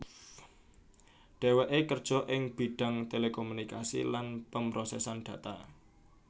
Dheweké kerja ing bidhang telekomunikasi lan pemrosesan data